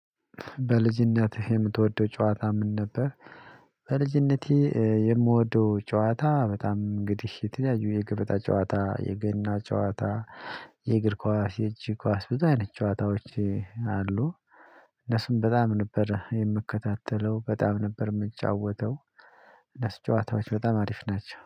በልጅነትህ የምትወደው ጨዋታ ምን ነበር? በልጅነቴ የምወደው ጨዋታ በጣም እንግዲህ የተለያዩ የገበታ ጨዋታ የገና ጨዋታ የእግር ኳስ የእጅ ኳስ ብዙ አይነት ጨዋታዎች አሉ። እነሱም በጣም ነበር የምከታተለው በጣም ነበር የምጫወተው። እነሱ ጨዋታዎች በጣም አሪፍ ናቸው